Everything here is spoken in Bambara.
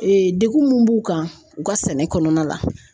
degun mun b'u kan u ka sɛnɛ kɔnɔna la